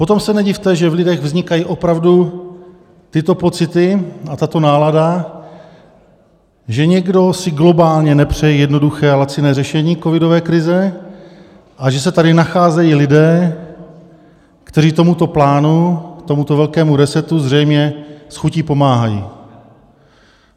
Potom se nedivte, že v lidech vznikají opravdu tyto pocity a tato nálada, že někdo si globálně nepřeje jednoduché a laciné řešení covidové krize a že se tady nacházejí lidé, kteří tomuto plánu, tomuto velkému resetu, zřejmě s chutí pomáhají.